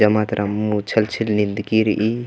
जम्मा तरा अम्मू छल छिल निंदकी रइई।